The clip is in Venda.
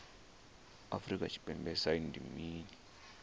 afrika tshipembe sagnc ndi mini